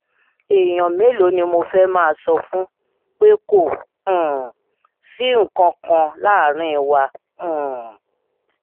èèyàn mélòó ni mo fẹ́ẹ́ máa sọ fún pé kò um sí nǹkan kan láàrin wa um